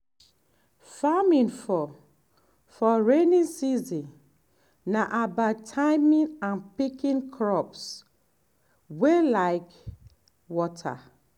farming for for rainy season na about timing and picking crops wey like water.